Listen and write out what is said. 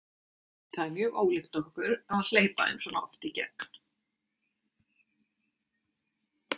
Það er mjög ólíkt okkur að hleypa þeim svona oft í gegn.